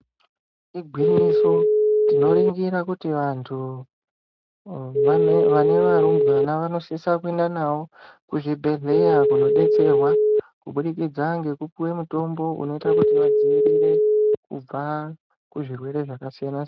Igwinyiso tinoringira kuti vantu vane varumbwana vanosisa kuenda navo kuzvibhedhleya kunodetserwa kubudikidza ngekupiwe mutombo unoita kuti vadzivirire kubva kuzvirwere zvakasiyana siyana.